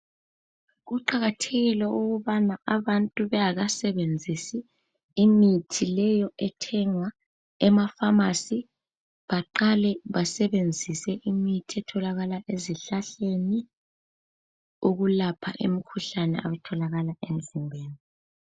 Kuqakathekile ukubana abantu bengaba sebenzisi imithi leyo ethenga emafamasi baqale basebenzise imithi etholakala ezihlahleni ukulapha emkhuhlane abatholakala emzimbeni .